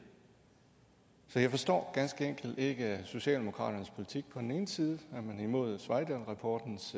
så jeg forstår ganske enkelt ikke socialdemokratiets politik på den ene side er man imod sveidahlrapportens